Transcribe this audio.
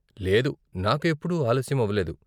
లేదు, నాకు ఎప్పుడూ ఆలస్యం అవ్వలేదు.